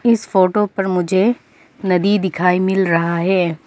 इस फोटो पर मुझे नदी दिखाई मिल रहा है।